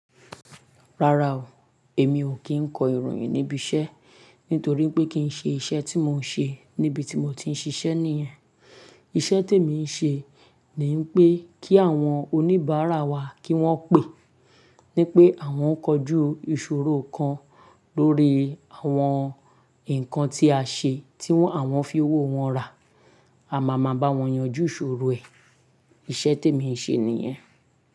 Rárá o, èmi ò kí ń kọ ìròyìn níbi iṣẹ́, nítorí pé kí ń ṣe iṣẹ́ tí mò ń ṣe níbi tí mo ti ń ṣiṣẹ́ nìyen. Iṣẹ́ tí èmi ń ṣe ni pé kí àwọn oníbàárà wa kí wọ́n pè, ní pé àwọn ó kọjú ìṣòro kan lórí àwọn nǹkan tí a ṣe tí wọ́n àwọn fi owó wọn rà, a má ma bá wọn yanjú ìṣòro ẹ̀. Iṣẹ́ tí èmi ń ṣe nìyen.